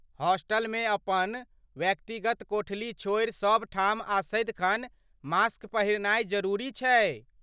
हॉस्टलमे अपन वयक्तिगत कोठली छोड़ि, सभठाम आ सदिखन मास्क पहिरनाय जरूरी छै।